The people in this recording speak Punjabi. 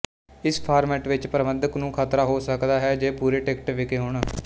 ਇਸ ਫਾਰਮੈਟ ਵਿੱਚ ਪ੍ਰਬੰਧਕ ਨੂੰ ਖਤਰਾ ਹੋ ਸਕਦਾ ਹੈ ਜੇ ਪੂਰੇ ਟਿਕਟ ਵਿਕੇ ਹੋਣ